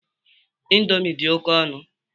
Ịndomi dị oké ọnụ